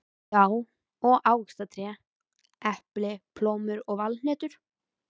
Já, og ávaxtatré: epli, plómur og valhnetur.